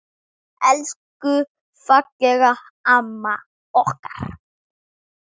Elsku fallega amma okkar.